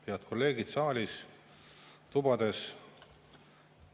Head kolleegid saalis ja tubades!